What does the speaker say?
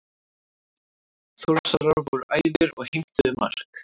Þórsarar voru æfir og heimtuðu mark.